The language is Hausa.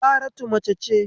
Saratu mace ce